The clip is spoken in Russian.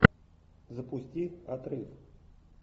запусти отрыв